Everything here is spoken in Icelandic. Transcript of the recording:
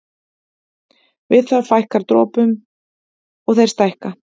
Við það fækkar dropunum og þeir stækka.